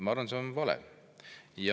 Ma arvan, et see on vale.